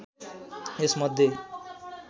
यस मध्ये